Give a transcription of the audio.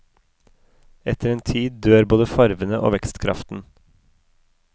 Etter en tid dør både farvene og vekstkraften.